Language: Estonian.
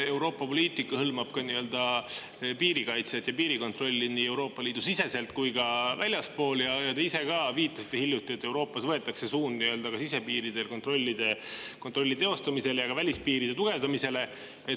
Euroopa poliitika hõlmab ka piirikaitset ja piirikontrolli nii Euroopa Liidu sees kui ka väljaspool seda ning te ise ka viitasite hiljuti sellele, et Euroopas võetakse suund kontrollida sisepiire ja ka tugevdada välispiire.